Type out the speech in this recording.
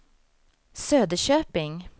Söderköping